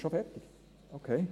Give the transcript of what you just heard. Ist es schon fertig?